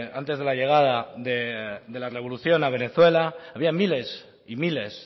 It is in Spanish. antes de la llegada de la revolución a venezuela había miles y miles